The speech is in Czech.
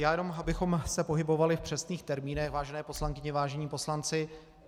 Já jenom abychom se pohybovali v přesných termínech, vážené poslankyně, vážení poslanci.